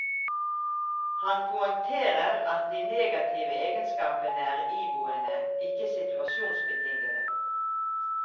Han poengterer at de negative egenskapene er iboende, ikke situasjonsbetingede.